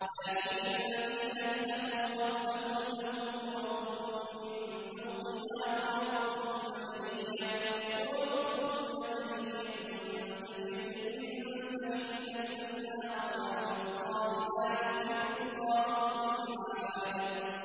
لَٰكِنِ الَّذِينَ اتَّقَوْا رَبَّهُمْ لَهُمْ غُرَفٌ مِّن فَوْقِهَا غُرَفٌ مَّبْنِيَّةٌ تَجْرِي مِن تَحْتِهَا الْأَنْهَارُ ۖ وَعْدَ اللَّهِ ۖ لَا يُخْلِفُ اللَّهُ الْمِيعَادَ